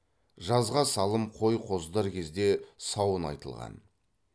жазға салым қой қоздар кезде сауын айтылған